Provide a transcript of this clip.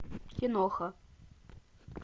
киноха